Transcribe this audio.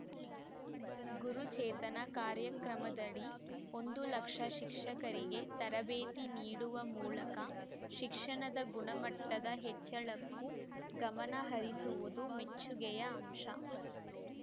ಗುರು ಚೇತನ ಕಾರ್ಯಕ್ರಮದ‌ಡಿ ಒಂದು ಲಕ್ಷ ಶಿಕ್ಷಕರಿಗೆ ತರಬೇತಿ ನೀಡುವ ಮೂಲಕ ಶಿಕ್ಷಣದ ಗುಣಮಟ್ಟದ ಹೆಚ್ಚಳಕ್ಕೂ ಗಮನ ಹರಿಸಿರುವುದು ಮೆಚ್ಚುಗೆಯ ಅಂಶ